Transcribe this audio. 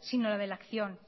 sino la de la acción